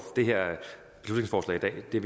det